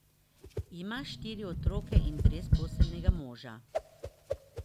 Ima štiri otroke in brezposelnega moža.